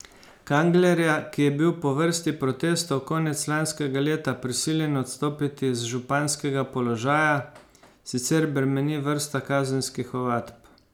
Kanglerja, ki je bil po vrsti protestov konec lanskega leta prisiljen odstopiti z županskega položaja, sicer bremeni vrsta kazenskih ovadb.